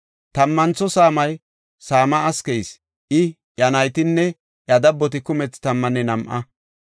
Tammantho saamay Sam7as keyis; I, iya naytinne iya dabboti kumethi tammanne nam7a.